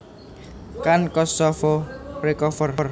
Can Kosovo recover